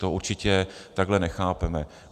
To určitě takhle nechápeme.